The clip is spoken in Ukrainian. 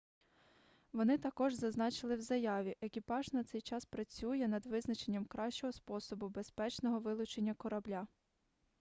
вони також зазначили в заяві екіпаж на цей час працює над визначенням кращого способу безпечного вилучення корабля